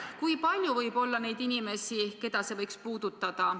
Kui palju võib olla neid inimesi, keda see ehk puudutab?